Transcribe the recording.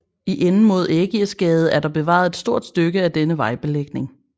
I enden mod Ægirsgade er der bevaret et stort stykke af denne vejbelægning